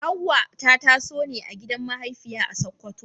Hawwa ta taso ne a gidan mahaifiya a Sakkwato.